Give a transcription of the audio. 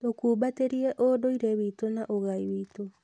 Tũkumbatĩrie ũndũire witũ na ũgai witũ.